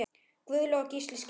Guðlaug og Gísli skildu.